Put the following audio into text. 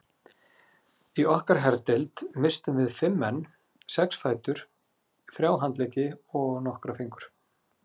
Í okkar herdeild misstum við fimm menn, sex fætur, þrjá handleggi og nokkra fingur.